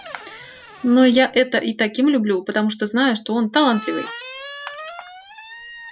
но я это и таким люблю потому что знаю что он талантливый